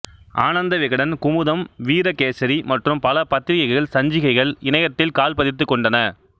ஆனந்த விகடன் குமுதம் வீரகேசரி மற்றும் பல பத்திரிகைகள் சஞ்சிகைகள் இணையத்தில் கால் பதித்துக் கொண்டன